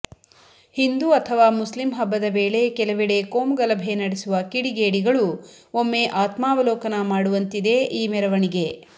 ಹಿಂದೂ ಅಥವಾ ಮುಸ್ಲಿಮ್ ಹಬ್ಬದ ವೇಳೆ ಕೆಲವೆಡೆ ಕೋಮುಗಲಭೆ ನಡೆಸುವ ಕಿಡಿಗೇಡಿಗಳೂ ಒಮ್ಮೆ ಆತ್ಮಾವಲೋಕನ ಮಾಡುವಂತಿದೆ ಈ ಮೆರವಣಿಗೆ